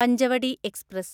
Panchavadi express